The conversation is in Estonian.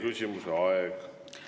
Teie küsimuse aeg on läbi.